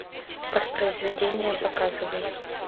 воспроизведение показывай